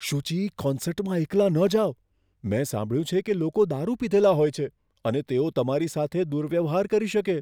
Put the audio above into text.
સુચી. કોન્સર્ટમાં એકલા ન જાઓ. મેં સાંભળ્યું છે કે લોકો દારૂ પીધેલા હોય છે અને તેઓ તમારી સાથે દુર્વ્યવહાર કરી શકે.